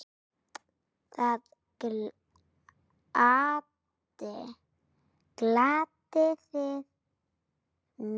Það gladdi þig mjög.